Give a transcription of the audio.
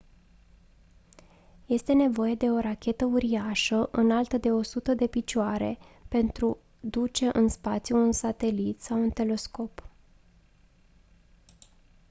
este nevoie de o rachetă uriașă înaltă de 100 de picioare pentru duce în spațiu un satelit sau un telescop